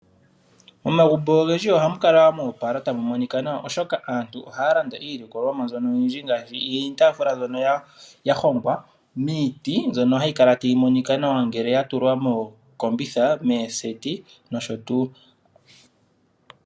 Omagumbo ogendji ohamu kala mo opala tamu monika nawa oshoka aantu ohaa landa iilikolomwa mbyono oyindji ngaashi iitaafula mbyono ya hongwa miiti mbyono hayi kala tayi monika nawa ngele ya tulwa mookombitha, mooseti nosho tuu.